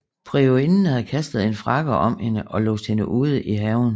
Priorinden havde kastet en frakke om hende og låst hende ud i haven